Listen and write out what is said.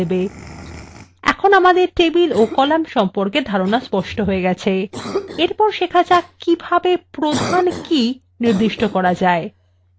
এখন আমাদের টেবিল ও কলাম সম্পর্কে স্পষ্ট ধারণা হয়ে গেছে এরপর শেখা যাক কিভাবে প্রধান কি নির্দিষ্ট করা যায়